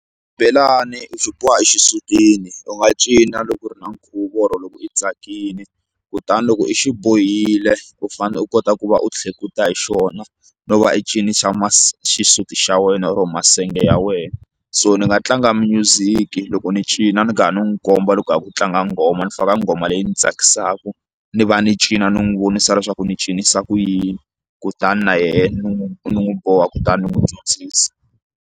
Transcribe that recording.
Xibelani u xi boha exisutini u nga cina loko u ri na nkhuvo or loko i tsakile kutani loko i xi bohile u fanele u kota ku va u tlhekuta hi xona no va i cinisa xisuti xa wena or masenge ya wena so ni nga tlanga music loko ni cina ni ka ha ni n'wi komba loko ku ka rhi ku tlanga nghoma ni faka nghoma leyi yi ni tsakisaku ni va ni cina ni n'wi vonisa leswaku ni cinisa ku yini kutani na yena ni n'wi ni n'wu boha kutani ndzi n'wi dyondzisa.